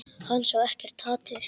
Hann sá ekkert hatur.